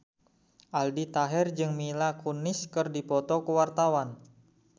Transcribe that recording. Aldi Taher jeung Mila Kunis keur dipoto ku wartawan